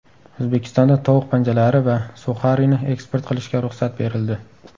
O‘zbekistonda tovuq panjalari va suxarini eksport qilishga ruxsat berildi.